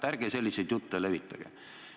Ärge selliseid jutte levitage.